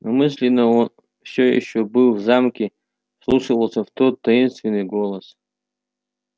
мысленно он всё ещё был в замке вслушивался в тот таинственный голос